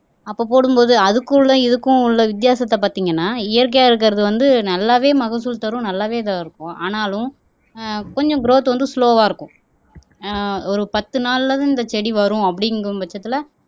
அப்போ போடும்போது அதுக்குள்ளே இதுக்கும் உள்ள வித்தியாசத்தை பார்த்தீங்கன்னா இயற்கையா இருக்கிறது வந்து, நல்லாவே மகசூல் தரும் நல்லாவே இதா இருக்கும் ஆனாலும் ஆஹ் கொஞ்சம் கிரௌத் வந்து ஸ்லொவா இருக்கும் ஆஹ் ஒரு பத்து நாள்லதான் இந்த செடி வரும் அப்படிங்கும் பட்சத்துல